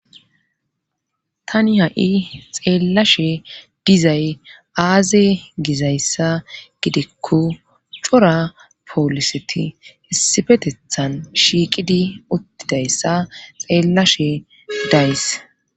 Tani ha7i xeellashe dizay aaze gizayssa gidikko cora pooliseti hissifetethan shiiqidi uttidayssa xeellashe days